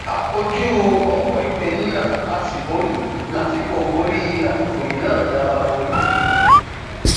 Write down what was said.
a kojú ọpọ ìpeniná a sì borí lásìkò borí lásìkò yìí náà a máa borí